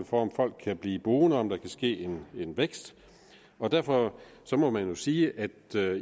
for om folk kan blive boende og om der kan ske vækst og derfor må man jo sige at